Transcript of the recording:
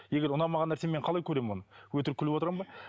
егер ұнамаған нәрсені мен қалай көремін оны өтірік күліп отырамын ба